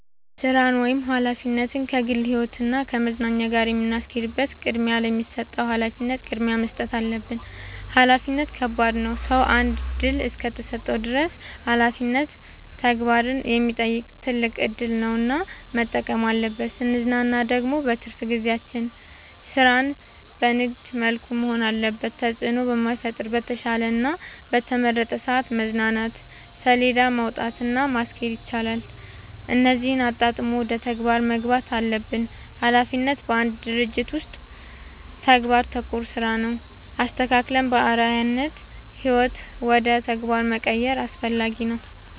ስራን ወይም ሀላፊነትን ከግል ህይወት እና ከመዝናኛ ጋር የምናስኬድበት ቅድሚያ ለሚሰጠው ሀላፊነት ቅድሚያ መስጠት አለብን። ሀላፊነት ከባድ ነው ሰው አንድ እድል እስከሰጠን ድረስ ሀላፊነት ተግባርን የሚጠይቅ ትልቅ እድል ነው እና መጠበቅ አለብን። ስንዝናና ደግሞ በትርፍ ጊዜያችን ስራችን በንግድ መልኩ መሆን አለበት ተጽዕኖ በማይፈጥር በተሻለ እና በተመረጠ ሰዐት መዝናናት ሴለዳ ማውጣት እና ማስኬድ ይቻላል እነዚህን አጣጥሞ ወደ ተግባር መግባት አለብን። ሀላፊነት በአንድ ድርጅት ውስጥ ተግባር ተኮር ስራ ነው። አስተካክለን በአርዐያነት ህይወት ውደ ተግባር መቀየር አስፈላጊ ነው።